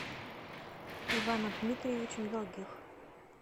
иваном дмитриевичем долгих